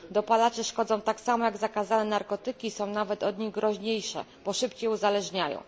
Dopalacze szkodzą tak samo jak zakazane narkotyki, są nawet od nich groźniejsze, bo szybciej uzależniają.